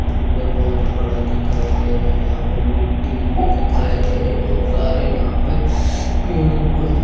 समुंदर बहोत बड़ा दिखाई दे रहा है यहां पे मिट्टी भी दिखाई दे रह है बहुत सारे यहां पे पेड़ पौधे--